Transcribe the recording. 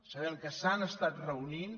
sabem que s’han estat reunint